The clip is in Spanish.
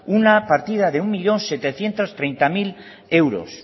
una partida un millón setecientos treinta mil euros